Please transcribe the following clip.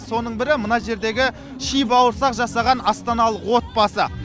соның бірі мына жердегі ши бауырсақ жасаған астаналық отбасы